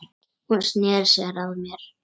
Hún sneri sér að mér.